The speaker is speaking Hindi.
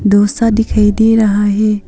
डोसा दिखाई दे रहा है।